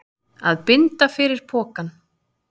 Að binda fyrir pokann